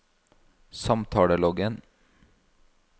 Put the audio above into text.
samtaleloggen